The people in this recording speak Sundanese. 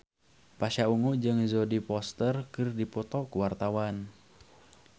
Pasha Ungu jeung Jodie Foster keur dipoto ku wartawan